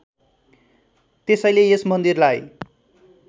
त्यसैले यस मन्दिरलाई